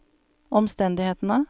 omstendighetene